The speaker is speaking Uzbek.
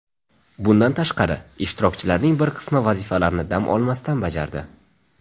Bundan tashqari, ishtirokchilarning bir qismi vazifalarni dam olmasdan bajardi.